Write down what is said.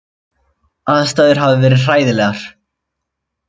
Aðstæður hafi verið hræðilegar